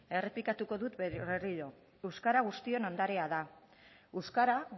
errepikatuko dut berriro euskara guztion ondarea da euskara